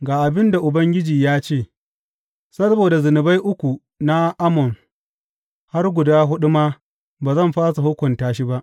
Ga abin da Ubangiji ya ce, Saboda zunubai uku na Ammon, har guda huɗu ma, ba zan fasa hukunta shi ba.